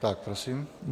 Tak prosím.